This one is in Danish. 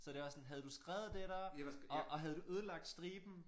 Så det også sådan havde du skrevet det der og og havde du ødelagt striben